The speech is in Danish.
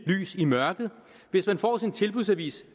lys i mørket hvis man får sin tilbudsavis